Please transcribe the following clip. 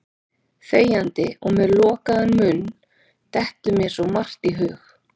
Þegjandi og með lokaðan munn dettur mér svo margt í hug.